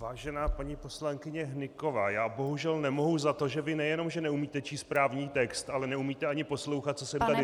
Vážená paní poslankyně Hnyková, já bohužel nemohu za to, že vy nejenom že neumíte číst právní text, ale neumíte ani poslouchat, co jsem tady říkal.